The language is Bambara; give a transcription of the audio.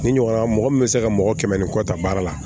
Ni ɲɔgɔnna mɔgɔ min bɛ se ka mɔgɔ kɛmɛ ni kɔ ta baara la